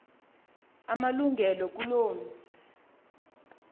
amalungelo kuloo mzi